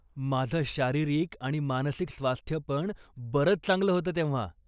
माझं शारीरिक आणि मानसिक स्वास्थ्य पण बरंच चांगलं होतं तेव्हा.